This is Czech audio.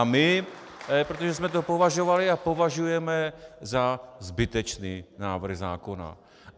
A my, protože jsme to považovali a považujeme za zbytečný návrh zákona.